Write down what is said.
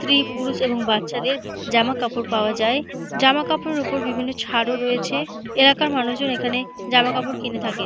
স্ত্রী পুরুষ এবং বাচ্চাদের জামা কাপড় পাওয়া যায়। জামা কাপড়ের উপর বিভিন্ন ছাড় ও রয়েছে এলাকার মানুষের এখানে জামা কাপড় কিনে থাকে।